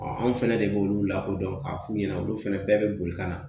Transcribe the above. anw fɛnɛ de b'olu lakodɔn k'a f'u ɲɛna olu fɛnɛ bɛɛ be boli ka na